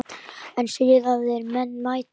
En siðaðir menn mæta.